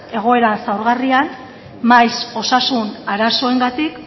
egoera xahugarrian maiz osasun arazoengatik